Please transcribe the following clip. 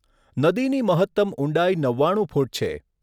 નદીની મહત્તમ ઊંડાઈ નવ્વાણું ફૂટ છે.